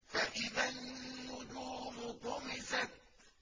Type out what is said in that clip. فَإِذَا النُّجُومُ طُمِسَتْ